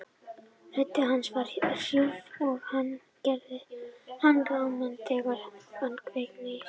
Rödd hans var hrjúf og hann gerði hana ráma þegar hann kveinkaði sér.